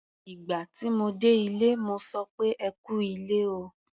Ìgbà tí mo dé ilé, mo sọ pé "ẹ kú ilé o".